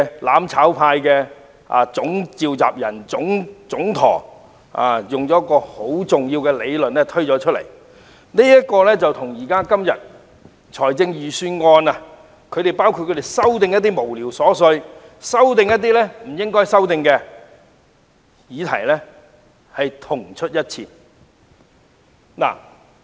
"攬炒派"的總召集人、總舵主戴耀廷近期提出一項重要理論，與他們今天就預算案提出的一些瑣屑無聊的修正案如出一轍。